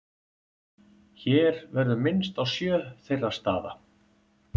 Hér verður minnst á sjö þeirra staða.